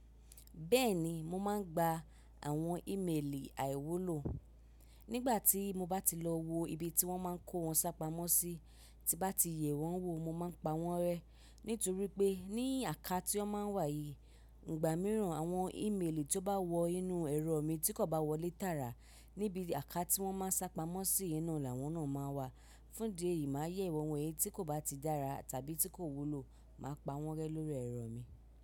Bẹ́ẹ̀ni, mo máa ń gba àwọn ímeèlì àìwúlò. Nígbà tí mo bá ti lọ wo ibi tí wọ́n máa ń kó wọn sápamọ́ sí, tí bá ti yẹ̀ wọ́n wò, mo máa pa wọ́n rẹ́. Nítorí pé ní àká tí ó máa ń wà yìí, ìgbà mìíràn àwọn ímeèlì tó bá wọ inú ẹrọ mi tí kò bá wọlé tààrà níbi àká tí wọ́n máa ń sápamọ́ sí inú, làwọn náà máa wà. Fún ìdí eyìí, màá yẹ̀ wọ́n wo èyí tí kò bá ti dára tàbí tí kò wúlò, màá pa wọ́n rẹ́ lórí ẹ̀rọ mi.